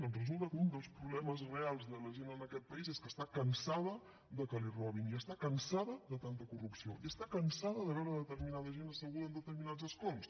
doncs resulta que un dels problemes reals de la gent en aquest país és que està cansada de que li robin i està cansada de tanta corrupció i està cansada de veure determinada gent asseguda en determinats escons